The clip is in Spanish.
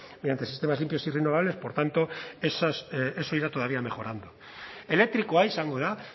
mediante sistemas limpios y renovables por tanto eso irá todavía mejorando elektrikoa izango da